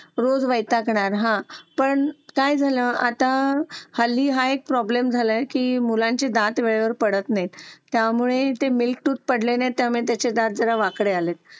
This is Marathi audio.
जो असतो आपल्या शाळेमध्ये घरामध्ये रस्त्यावर त्याची विल्हेवाट लावणं खूप महत्वाची आहे.